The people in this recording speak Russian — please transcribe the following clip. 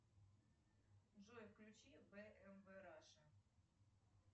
джой включи бмв раша